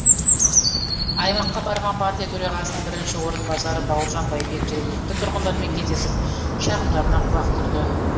аймаққа барған партия төрағасының бірінші орынбасары бауыржан байбек жергілікті тұрғындармен кездесіп шағымдарына құлақ түрді